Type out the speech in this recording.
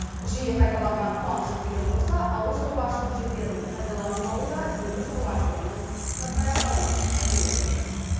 жиі қайталанған қуаңшылықпен қоса ауылшаруашылық жерлерінің пайдаланылмауы да егін шаруашылығының шатқаяқтауына әсер етіп отыр